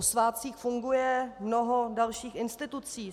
O svátcích funguje mnoho dalších institucí.